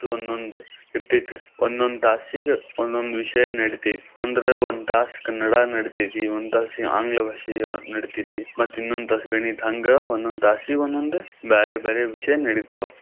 ಒಂದೊಂದ್ ಇರತೈತಿ ಒಂದೊಂದ್ ತಾಸಿಗೆ ಒಂದೊಂದ್ ವಿಷಯಾ ನಡೀತೈತಿ. ಅಂದ್ರ ಒಂದ್ ತಾಸ್ ಕನ್ನಡಾ ನಡಿತೈತಿ, ಒಂದ್ ತಾಸ್ ಆಂಗ್ಲ ಭಾಷೆ ನಡಿತೈತಿ, ಮತ್ ಇನ್ನೊಂದ್ ತಾಸ್ ಗಣಿತ ಹಂಗ ಒಂದೊಂದ್ ತಾಸಿಗ್ ಒಂದೊಂದ್ ಬ್ಯಾರೆ ಬ್ಯಾರೆ ವಿಷಯಾ ನಡಿತಾವು.